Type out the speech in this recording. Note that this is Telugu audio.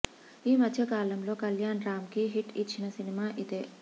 ఈ మధ్య కాలంలో కల్యాణ్ రామ్ కి హిట్ ఇచ్చిన సినిమా ఇదే